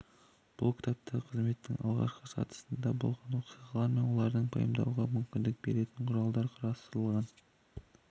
бұл кітапта қызметтің алғашқы сатысында болған оқиғалар мен оларды пайымдауға мүмкіндік беретін құралдар қарастырылған